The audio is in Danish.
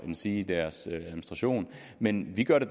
endsige i deres administration men vi gør det